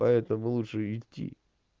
поэтому лучше идти